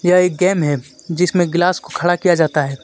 यह एक गेम है जिसमें गिलास को खड़ा किया जाता है.